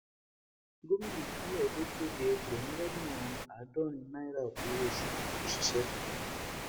gomina ìpínlẹ edo kéde ẹgbẹrún lọnà àádọrin naira owóoṣù òṣìṣẹ tuntun